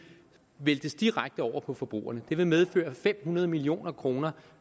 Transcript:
væltes direkte over på forbrugerne det vil medføre fem hundrede million kroner